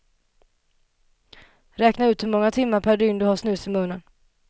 Räkna ut hur många timmar per dygn du har snus i munnen.